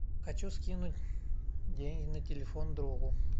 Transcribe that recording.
хочу скинуть деньги на телефон другу